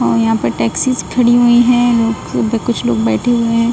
और यहां पे टैक्सीज खड़ी हुई है कुछ लोग बैठे हुए हैं।